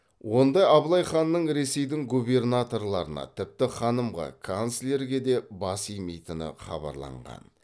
онда абылай ханның ресейдің губернаторларына тіпті ханымға канцлерге де бас имейтіні хабарланған